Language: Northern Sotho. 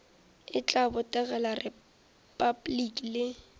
e tla botegela repabliki le